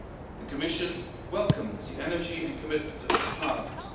The Commission welcomes the energy and commitment of this Parliament.